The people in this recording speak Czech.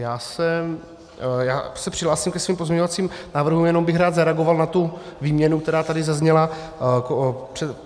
Já se přihlásím ke svým pozměňovacím návrhům, jenom bych rád zareagoval na tu výměnu, která tady zazněla.